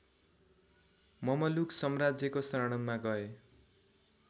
Mamluk सम्राज्यको शरणमा गए